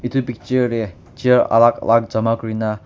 edu picture tae chair alak alak jama kurina.